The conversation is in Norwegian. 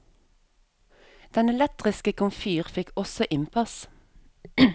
Den elektriske komfyr fikk også innpass.